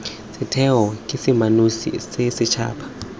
setheo ke seemanosi sa setšhaba